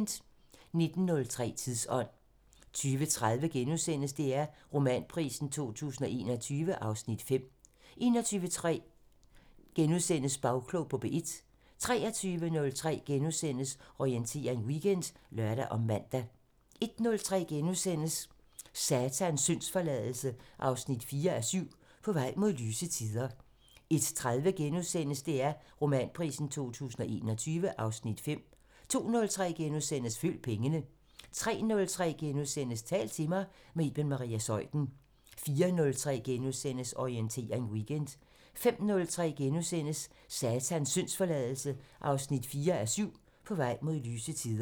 19:03: Tidsånd 20:30: DR Romanprisen 2021 (Afs. 5)* 21:03: Bagklog på P1 * 23:03: Orientering Weekend *(lør og man) 01:03: Satans syndsforladelse 4:7 – På vej mod lyse tider * 01:30: DR Romanprisen 2021 (Afs. 5)* 02:03: Følg pengene * 03:03: Tal til mig – med Iben Maria Zeuthen * 04:03: Orientering Weekend * 05:03: Satans syndsforladelse 4:7 – På vej mod lyse tider *